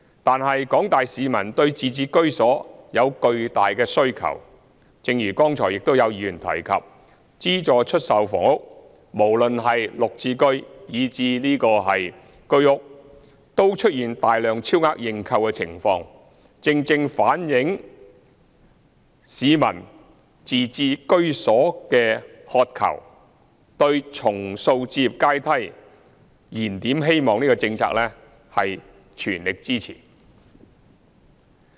但是，廣大市民對自置居所有巨大的需求，正如剛才亦有議員提及，資助出售房屋無論是綠表置居計劃單位，以至居者有其屋計劃單位，均出現大量超額認購的情況，正正反映市民對自置居所的渴求，對重塑置業階梯、燃點希望這項政策的全力支持。